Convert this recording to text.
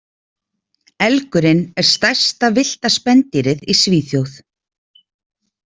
Elgurinn er stærsta villta spendýrið í Svíþjóð.